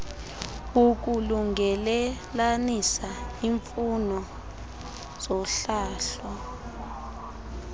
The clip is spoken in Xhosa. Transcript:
ukulungelelanisa imfuno zohlahlo